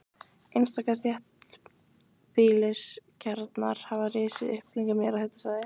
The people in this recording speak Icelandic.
Einstaka þéttbýliskjarnar hafa risið upp kringum jarðhitasvæði.